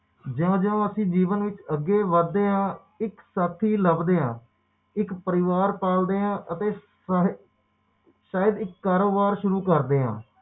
ਜਿਓ ਜਿਓ ਅਸੀਂ ਜੀਵਨ ਵਿੱਚ ਅੱਗੇ ਵਧਦੇ ਹਾ ਇੱਕ ਸਾਥੀ ਲੱਭਦੇ ਹਾ ਇੱਕ ਪਰਿਵਾਰ ਪਾਲਦੇ ਹਾ ਅਤੇ ਸਹਿਜ ਇੱਕ ਕਾਰੋਬਾਰ ਸ਼ੁਰੂ ਕਰਦੇ ਹਾ